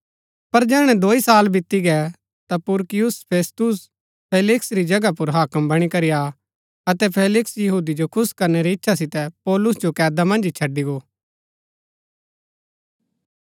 पर जैहणै दोई साल बीती गै ता पुरकियुस फेस्तुस फेलिक्स री जगह पुर हाक्म बणी करी आ अतै फेलिक्स यहूदी जो खुश करणै री इच्छा सितै पौलुस जो कैदा मन्ज ही छड़ी गो